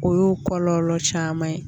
O y'o kɔlɔlɔ caman ye